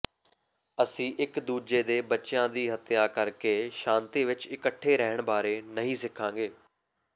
ਅਸੀਂ ਇੱਕ ਦੂਜੇ ਦੇ ਬੱਚਿਆਂ ਦੀ ਹੱਤਿਆ ਕਰਕੇ ਸ਼ਾਂਤੀ ਵਿੱਚ ਇਕੱਠੇ ਰਹਿਣ ਬਾਰੇ ਨਹੀਂ ਸਿੱਖਾਂਗੇ